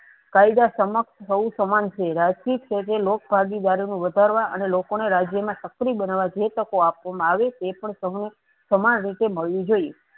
કાયદા સમક્ષ સૌ સમાન છે. રાજકીય ક્ષેત્રે લોક ભાગીદારીનું વધારવા અને લોકો ને રાજ્યમાં સ્ક્રી બનાવવા જે તકો આપવા માં આવે છે. તેપણ સવું સમાન રીતે મળવું જોઈએ.